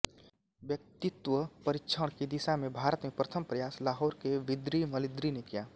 व्यक्तित्वपरीक्षण की दिशा में भारत में प्रथम प्रयास लाहौर के बीदृ मलदृ ने किया